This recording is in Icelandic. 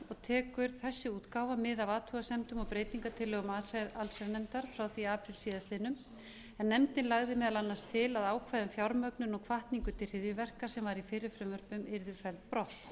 tekur þessi útgáfa mið af athugasemdum og breytingartillögum allsherjarnefndar frá því í apríl síðastliðnum en nefndin lagði meðal annars til að ákvæði um fjármögnun og hvatningu til hryðjuverka sem var í fyrri frumvörpunum yrðu felld brott